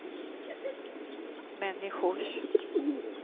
människors